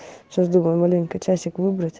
сейчас думаю маленько часик выбрать